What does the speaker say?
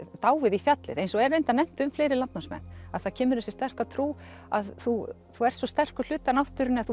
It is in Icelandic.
dáið í fjallið eins og er reyndar nefnt um fleiri landnámsmenn það kemur þessi sterka trú að þú ert svo sterkur hluti af náttúrunni að þú